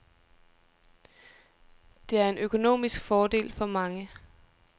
Det er en økonomisk fordel for mange.